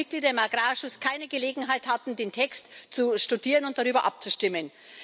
dass die Mitglieder im Agrarausschuss keine Gelegenheit hatten, den Text zu studieren und darüber abzustimmen.